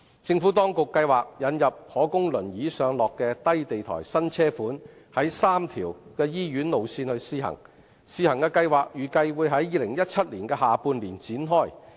政府當局計劃引入可供輪椅上落的低地台新車款在3條醫院路線試行，試行計劃預計會於2017年下半年展開。